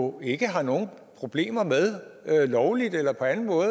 jo ikke har nogen problemer med lovligt eller på anden måde